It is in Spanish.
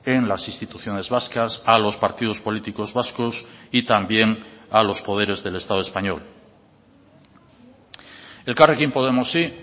en las instituciones vascas a los partidos políticos vascos y también a los poderes del estado español elkarrekin podemosi